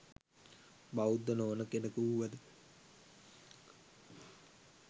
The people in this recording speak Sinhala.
බෞද්ධ නොවන කෙනෙකු වුවද